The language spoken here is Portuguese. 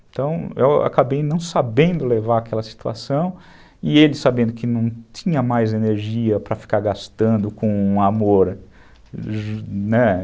Então, eu acabei não sabendo levar aquela situação e ele sabendo que não tinha mais energia para ficar gastando com amor, né?